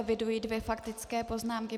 Eviduji dvě faktické poznámky.